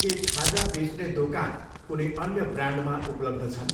के खाजा बेच्ने दोकान कुनै अन्य ब्रान्डमा उपलब्ध छन्?